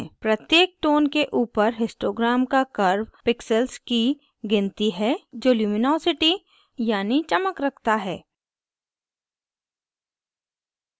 प्रत्येक tone के ऊपर histogram का curve pixel की गिनती है जो luminosity यानी चमक रखता है